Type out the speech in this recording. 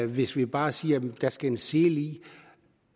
hvis vi bare siger at der skal en sele i